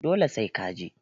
Dole sai ka je